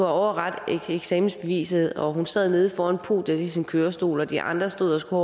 overrakt eksamensbeviset og som sad nede foran podiet i sin kørestol og de andre stod og skulle